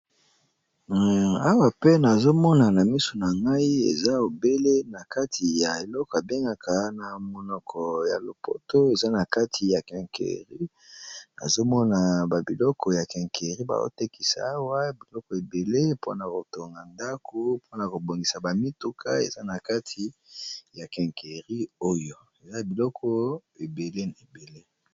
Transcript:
Awa pe nazomona na misu na ngai eza obele na kati ya eleko abengaka na monoko ya lopoto eza na kati ya kinkeri azomona babiloko ya kinqueri bazotekisa awa biloko ebele mpona kotonga ndako mpona kobongisa ba mituka eza na kati ya kinqueri oyo eza biloko ebele ebele.